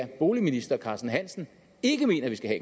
boligministeren ikke mener at vi skal